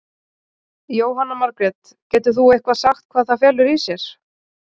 Jóhanna Margrét: Getur þú eitthvað sagt hvað það felur í sér?